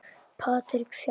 Patrik Fjalar.